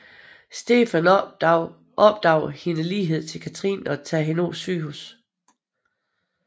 Stefan opdager hendes lighed til Katherine og tager hende på sygehuset